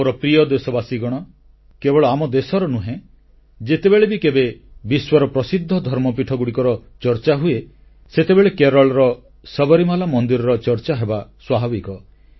ମୋର ପ୍ରିୟ ଦେଶବାସୀଗଣ କେବଳ ଆମ ଦେଶର ନୁହେଁ ଯେତେବେଳେ ବି କେବେ ବିଶ୍ୱର ପ୍ରସିଦ୍ଧ ଧର୍ମପୀଠଗୁଡ଼ିକର ଚର୍ଚ୍ଚା ହୁଏ ସେତେବେଳେ କେରଳର ସବରୀମାଲା ମନ୍ଦିରର ଚର୍ଚ୍ଚା ହେବା ସ୍ୱାଭାବିକ